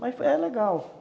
Mas é legal.